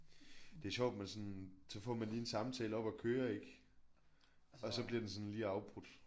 Det er sjovt man sådan så får man lige en samtale op at køre ik? Og så bliver den sådan lige afbrudt